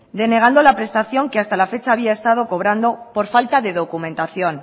denegando la prestación que hasta la fecha había estado cobrando por falta de documentación